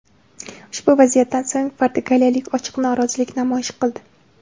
Ushbu vaziyatdan so‘ng portugaliyalik ochiq norozilik namoyish qildi.